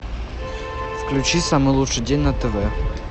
включи самый лучший день на тв